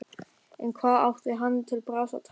En hvað átti hann til bragðs að taka?